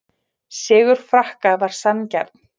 Sigur Frakka var sanngjarn